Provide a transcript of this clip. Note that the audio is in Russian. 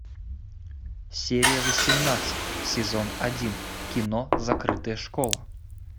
серия восемнадцать сезон один кино закрытая школа